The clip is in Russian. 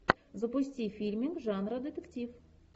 запусти фильмик жанра детектив